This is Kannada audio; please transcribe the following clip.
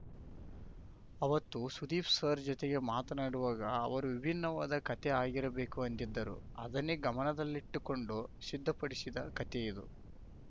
ಅವತ್ತು ಸುದೀಪ್‌ ಸರ್‌ ಜತೆಗೆ ಮಾತನಾಡುವಾಗ ಅವರು ವಿಭಿನ್ನವಾದ ಕತೆ ಆಗಿರಬೇಕು ಅಂದಿದ್ದರು ಅದನ್ನೇ ಗಮನದಲ್ಲಿಟ್ಟುಕೊಂಡು ಸಿದ್ಧಪಡಿಸಿದ ಕತೆಯಿದು